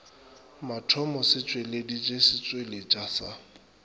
mathomo se tšweleditše setšweletšwa sa